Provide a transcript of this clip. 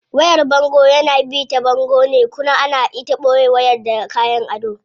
Wayar bango yana bi ta bango ne kuna ana ita boye wayar da kayan ado.